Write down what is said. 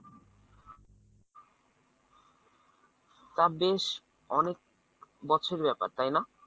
তা বেশ অনেক বছরের ব্যাপার তাই না?